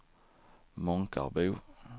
Månkarbo